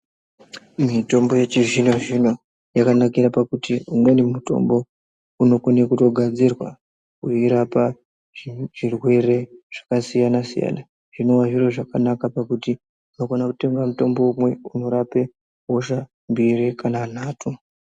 Mitombo yechizvino-zvino ,yakanakire pakuti umweni mutombo, unokone kutogadzirwa weirapa zvizvirwere zvakasiyana-siyana, zvinova zviro zvakanaka, pakuti unokona kutenga mutombo umwe ,unorape hosha mbiri kana nhatu.